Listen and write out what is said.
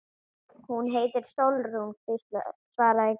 Hún heitir Sólrún, svaraði Gísli.